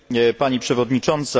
Pani przewodnicząca!